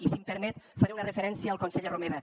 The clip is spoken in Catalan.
i si em permet faré una referència al conseller romeva